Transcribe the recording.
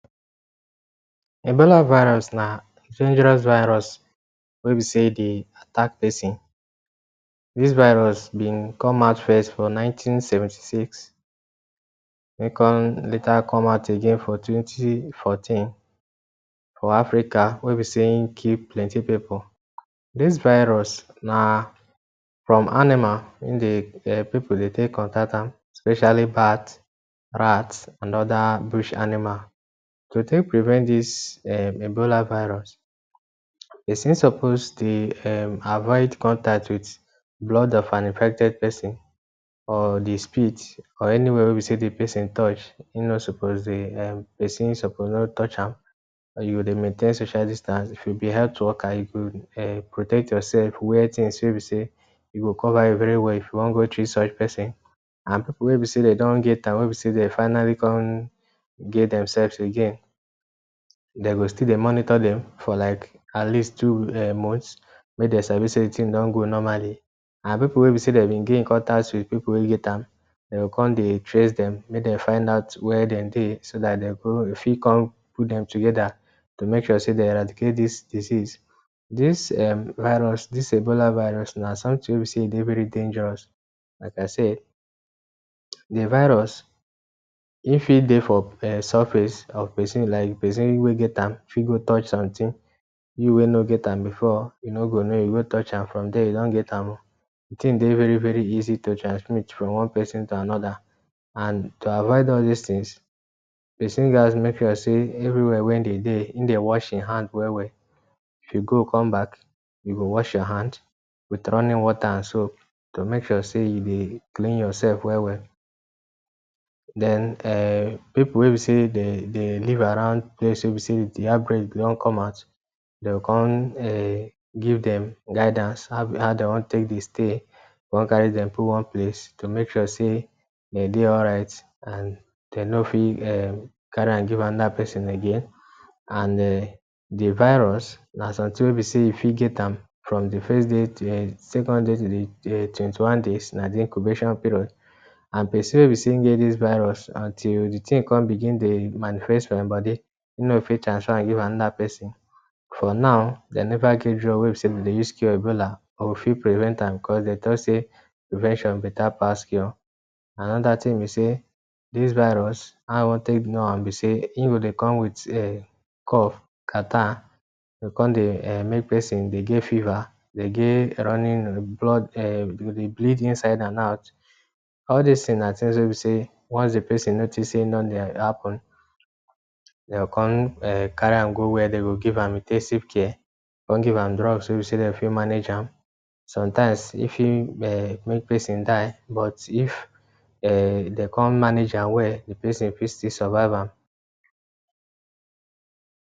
Ebola virus na dangerous virus wey be sey dey attack pesin. Dis virus been come out first for nineteen-seventy six wey come later come out again for twenty-fourteen for Africa wey be sey im kill plenty pipu. Dis virus na from animal im dey um pipu dey take contact am, especially bat, rat and other bush animal. To take prevent dis um Ebola virus; Pesin suppose dey um avoid contact with blood of an infected pesin or di spit or anywhere wey be sey de pesin touch, e no suppose dey um pesin suppose no touch am or you go dey maintain social distance. If you be health worker, you go um protect yourself. Wear things wey e be sey e go cover you very well if you wan go treat such pesin. And pipu wey e be sey de don get am wey e be sey dem finally come get themselves again, dem go still dey monitor dem for like at least two um months make de sabi sey the thing don go normally. And pipu wey e be sey dem been gain contact with, pipu wey get am, dem go come dey trace dem make dem find out where dem dey, so that de go fit come put dem together to make sure sey de eradicate dis disease. Dis um virus dis Ebola virus na something wey e be sey e dey very dangerous. Like I said, the virus, im fit dey for um surface of pesin, like pesin wey get am fit go touch something. You wey no get am before, you no go know you go touch am, from there you don get am o. De thing dey very-very easy to transmit from one pesin to another. And to avoid all dis things, pesin gats make sure sey everywhere wey im dey dey, im dey wash im hand well-well. If you go come back, you go wash your hand with running water and soap to make sure sey you dey clean yourself well-well. Den um pipu wey be sey dey dey live around place wey be sey de outbreak don come out, dey go come um give dem guidance how dem wan take dey stay, come carry dem put one place to make sure sey de dey alright and dem no fit um carry am give another pesin again. And um de virus na something wey be sey you go fit get am from the first day to um second day to the um twenty-one days na the incubation period. And pesin wey be sey im get dis virus, until de thing come begin dey manifest for im body, e no go fit transfer am give another pesin. For now, dem never get drug wey e be sey we dey use cure Ebola, but we fit prevent am cos de talk sey ‘prevention better pass cure’ Another thing be sey, dis virus, how I wan take know am be sey, im go dey come with um cough, catarrh. E go come dey um make pesin dey get fever, dey get running blood um you go dey bleed inside and out. All dis things na things wey e be sey once pesin notice sey e don dey happen, de go come um carry am go where dem go give am in ten sive care, come give am drugs wey e be sey dem fit manage am. Sometimes, e fit um make pesin die. But if um de come manage am well, the pesin fit still survive am.